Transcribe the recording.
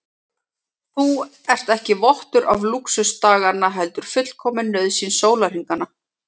Þú ert ekki vottur af lúxus daganna heldur fullkomin nauðsyn sólarhringanna.